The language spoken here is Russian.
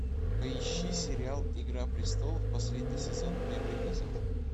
поищи сериал игра престолов последний сезон первый эпизод